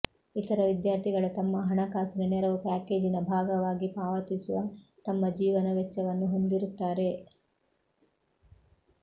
ಇತರ ವಿದ್ಯಾರ್ಥಿಗಳು ತಮ್ಮ ಹಣಕಾಸಿನ ನೆರವು ಪ್ಯಾಕೇಜಿನ ಭಾಗವಾಗಿ ಪಾವತಿಸುವ ತಮ್ಮ ಜೀವನ ವೆಚ್ಚವನ್ನು ಹೊಂದಿರುತ್ತಾರೆ